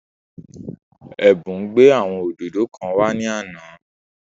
Ẹ̀bùn gbé àwọn òdòdó kan wá ní àná